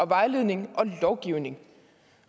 vejledning og lovgivning